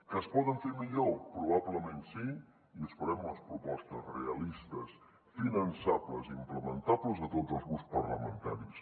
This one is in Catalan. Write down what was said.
que es poden fer millor probablement sí i esperem les propostes realistes finançables i implementables de tots els grups parlamentaris